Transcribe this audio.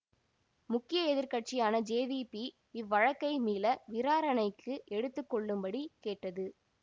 முக்கிய எதிர் கட்சியான ஜேவிபி இவ்வழக்கை மீள விராரணைக்கு எடுத்து கொள்ளும்படி கேட்டது